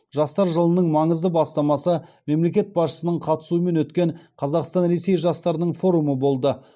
жастар жылының маңызды бастамасы мемлекет басшысының қатысуымен өткен қазақстан ресей жастарының форумы болды